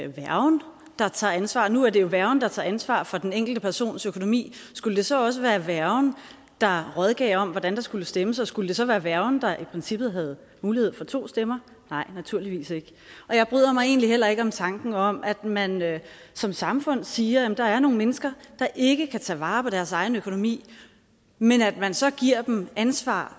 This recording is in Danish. værgen der tager ansvar nu er det jo værgen der tager ansvar for den enkelte persons økonomi skulle det så også være værgen der rådgav om hvordan der skulles stemmes og skulle det så være værgen der i princippet havde mulighed for to stemmer nej naturligvis ikke og jeg bryder mig egentlig heller ikke om tanken om at man som samfund siger at der er nogle mennesker der ikke kan tage vare på deres egen økonomi men at man så giver dem ansvar